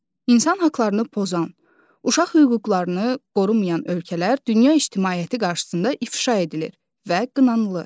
İnsan haqlarını pozan, uşaq hüquqlarını qorumayan ölkələr dünya ictimaiyyəti qarşısında ifşa edilir və qınanılır.